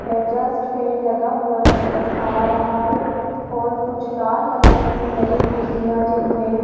exhaust fan लगा हुआ नजर आ रहा है और कुछ लाल कलर की नई कुर्सियां जिनपे --